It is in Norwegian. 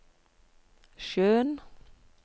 sjøen